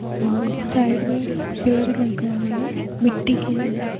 और इस साइड में पेड़ लगे हुए हैं | मिट्टी की जमीन हैं |